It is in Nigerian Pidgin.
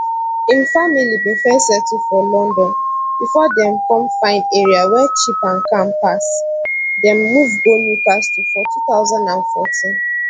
im family bin first settle for london bifor dem come find area wey cheap and calm pass dem move go newcastle for 2014